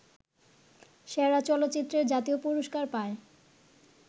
সেরা চলচ্চিত্রের জাতীয় পুরস্কার পায়